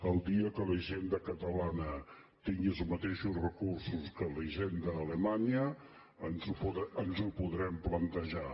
el dia que la hisenda catalana tingui els mateixos recursos que la hisenda alemanya ens ho podrem plantejar